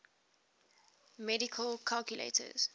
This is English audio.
mechanical calculators